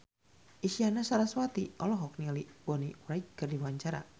Isyana Sarasvati olohok ningali Bonnie Wright keur diwawancara